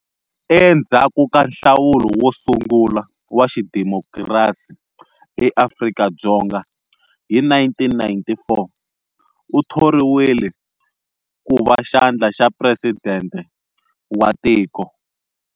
Endzhaku ka nhlawulo wo sungula wa xidemokirasi eAfrika-Dzonga hi 1994, u thoriwile ku va xandla xa presidente wa tiko.